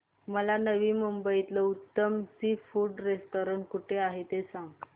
मला नवी मुंबईतलं उत्तम सी फूड रेस्टोरंट कुठे आहे ते सांग